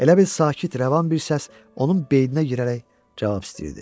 Elə bil sakit rəvan bir səs onun beyninə girərək cavab istəyirdi.